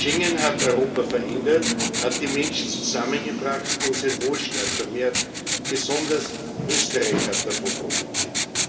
Schengen hat Europa verändert, hat die Menschen zusammengebracht und unseren Wohlstand gemehrt. Besonders Österreich hat davon profitiert.